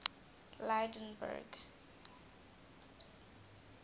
lydenburg